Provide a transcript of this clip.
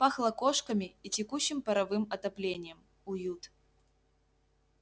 пахло кошками и текущим паровым отоплением уют